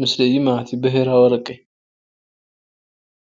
ምስሊ እዩ ማለት እዩ ብሔራዊ አረቂ፡፡